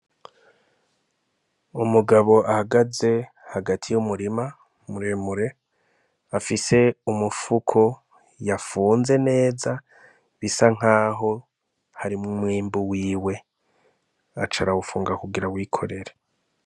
Umugabo ahagaze hagati y' umurima mure mure, afise umufuko yafunze neza bisa nkaho harimwo umwimbu wiwe aca arawufunga kugira awikorere.